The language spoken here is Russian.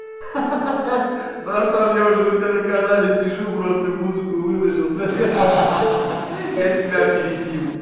ха-ха братан я уже у тебя на канале сижу просто музыку выложился ха-ха я тебя опередил